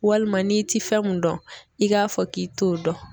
Walima n'i ti fɛn mun dɔn i k'a fɔ k'i t'o dɔn